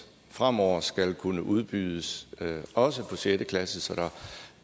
fremover skal kunne udbydes også for sjette klasse så der